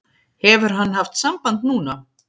Hefur hann haft samband núna?